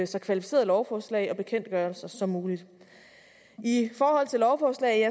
så kvalificerede lovforslag og bekendtgørelser som muligt i forhold til lovforslag